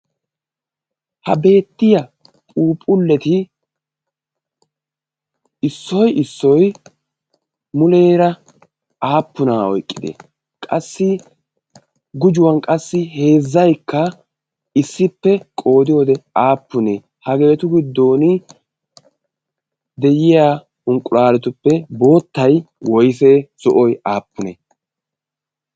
ha beettiya puuphulleti issoy issoy muleera aappunaa oyqqide? qassi gujuwan qassi heezzaikka issippe qoodi wode aappunee hageetu giddon de'iya unqqulaaretuppe boottay woysee? sohoy aappunee?